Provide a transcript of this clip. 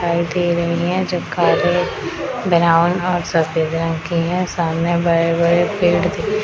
दिखाई दे रहे हैं जो काले ब्राउन और सफेद रंग की है सामने बड़े-बड़े पेड़ दिख --